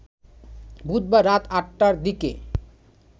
বুধবার রাত আট টার দিকে